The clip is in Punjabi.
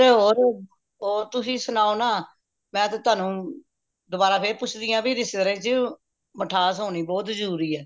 ਤੇ ਹੋਰ ਤੁਸੀ ਸੁਣਾਓ ਨਾ ਮੈਂ ਤੇ ਤੁਹਾਨੂੰ ਦੋਬਾਰਾ ਫੇਰ ਪੁੱਛਦੀ ਆ ਬਇ ਰਿਸ਼ਤੇਦਾਰੀ ਚ ਮਿਠਾਸ ਹੋਣੀ ਬਹੁਤ ਜਰੂਰੀ ਏ